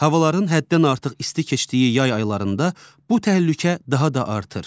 Havaların həddən artıq isti keçdiyi yay aylarında bu təhlükə daha da artır.